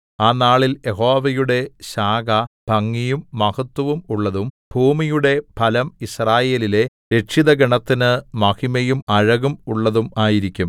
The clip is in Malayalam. ആ നാളിൽ യഹോവയുടെ ശാഖ ഭംഗിയും മഹത്ത്വവും ഉള്ളതും ഭൂമിയുടെ ഫലം യിസ്രായേലിലെ രക്ഷിതഗണത്തിന് മഹിമയും അഴകും ഉള്ളതും ആയിരിക്കും